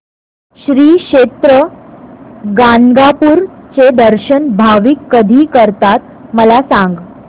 श्री क्षेत्र गाणगापूर चे दर्शन भाविक कधी करतात मला सांग